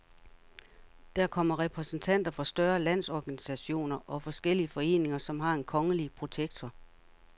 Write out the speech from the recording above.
Der kommer repræsentanter for større landsorganisationer og forskellige foreninger, som har en kongelige protektor.